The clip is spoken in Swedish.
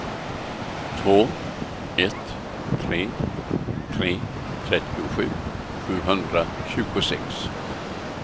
två ett tre tre trettiosju sjuhundratjugosex